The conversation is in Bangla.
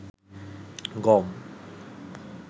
গম